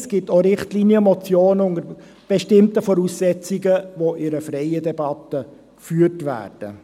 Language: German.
Es gibt auch Richtlinienmotionen, die unter bestimmten Voraussetzungen in freier Debatte behandelt werden.